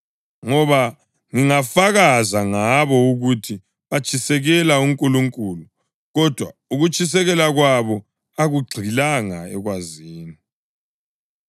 Ngoba ngingafakaza ngabo ukuthi batshisekela uNkulunkulu, kodwa ukutshiseka kwabo akugxilanga ekwazini.